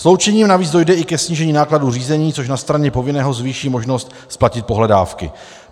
Sloučením navíc dojde i ke snížení nákladů řízení, což na straně povinného zvýší možnost splatit pohledávky.